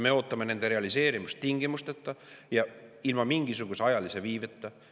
Me ootame nende realiseerimist tingimusteta ja ilma mingisuguse ajalise viibeta.